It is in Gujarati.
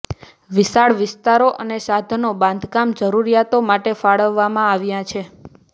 વિશાળ વિસ્તારો અને સાધનો બાંધકામ જરૂરિયાતો માટે ફાળવવામાં આવ્યા છે